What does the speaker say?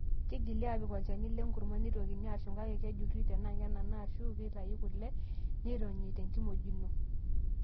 Keigili aapik olchani lenkurma, neitokini aashum kake kejurri tenaa kenana ashu keitayu kule tenironyi torkimojino.